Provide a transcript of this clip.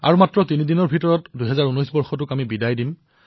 তিনিটা দিনৰ পিছতেই ২০১৯ বৰ্ষই আমাৰ পৰা বিদায় লব